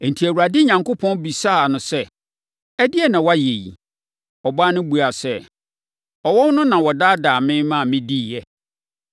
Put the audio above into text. Enti, Awurade Onyankopɔn bisaa ɔbaa no sɛ, “Ɛdeɛn na woayɛ yi?” Ɔbaa no buaa sɛ, “Ɔwɔ no na ɔdaadaa me ma mediiɛ.”